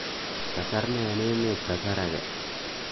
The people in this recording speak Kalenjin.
kasarne en emet kasar age